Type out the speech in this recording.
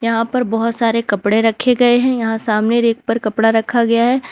यहां पर बहुत सारे कपड़े रखें गए हैं यहां सामने रैक पर कपड़ा रखा गया है।